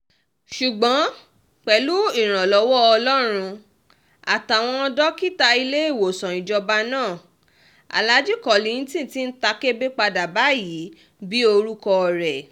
ṣùgbọ́n pẹ̀lú ìrànlọ́wọ́ ọlọ́run àtàwọn dókítà iléèwòsàn ìjọba náà alaajì kollington ti ń ta kébé padà báyìí bíi orúkọ rẹ̀